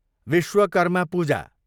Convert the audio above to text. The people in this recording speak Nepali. विश्वकर्मा पूजा